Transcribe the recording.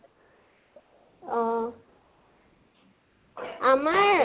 অহ, আমাৰ